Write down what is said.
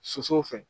Sosow fɛ